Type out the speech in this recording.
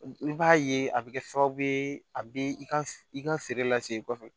I b'a ye a bɛ kɛ sababu ye a bɛ i ka i ka feere lase i kɔfɛ